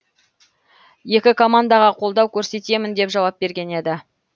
екі командаға қолдау көрсетемін деп жауап берген еді